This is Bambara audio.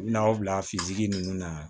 U bɛna aw bila sigi nunnu na